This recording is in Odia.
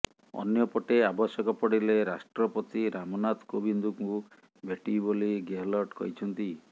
ଅନ୍ୟପଟେ ଆବଶ୍ୟକ ପଡିଲେ ରାଷ୍ଟ୍ରପତି ରାମନାଥ କୋବିନ୍ଦଙ୍କୁ ଭେଟିବି ବୋଲି ଗେହଲଟ କହିଛନ୍ତି